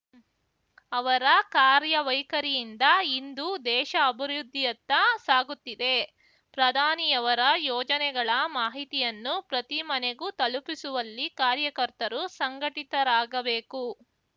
ಅವರ ಕಾರ್ಯವೈಖರಿಯಿಂದ ಇಂದು ದೇಶ ಅಭಿವೃದ್ಧಿಯತ್ತ ಸಾಗುತ್ತಿದೆ ಪ್ರಧಾನಿಯವರ ಯೋಜನೆಗಳ ಮಾಹಿತಿಯನ್ನು ಪ್ರತಿ ಮನೆಗೂ ತಲುಪಿಸುವಲ್ಲಿ ಕಾರ್ಯಕರ್ತರು ಸಂಘಟಿತರಾಗಬೇಕು